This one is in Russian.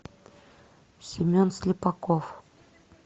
семен слепаков